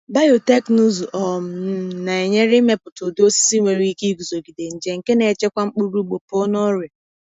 Biotekịnụzụ um n na-enyere imepụta ụdị osisi nwere ike iguzogide nje, nke na-echekwa mkpụrụ ugbo pụọ na ọrịa.